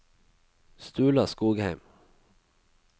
Sturla Skogheim